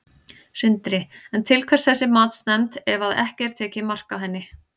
Sindri: En til hvers þessi matsnefnd ef að ekki er tekið mark á henni?